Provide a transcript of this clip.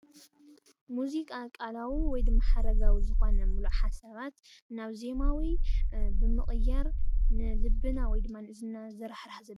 ሙዚቃ ቃላዊ ወይ ድማ ሓረጋዊ ዝኾነ ምሉእ ሓሳባት ናብ ዜማዊ ብምቕያር ንልብና ወይ ድማ ን እዝንና።